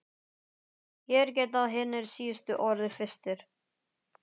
Hér geta hinir síðustu orðið fyrstir.